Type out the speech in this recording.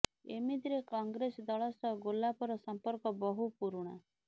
ଏମିତିରେ କଂଗ୍ରେସ ଦଳ ସହ ଗୋଲାପର ସମ୍ପର୍କ ବହୁ ପୁରୁଣା